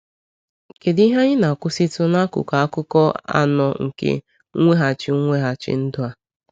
Kedu ihe anyị na-akwụsịtụ n’akụkụ akụkọ anọ nke mweghachi mweghachi ndụ a?